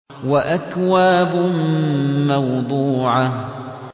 وَأَكْوَابٌ مَّوْضُوعَةٌ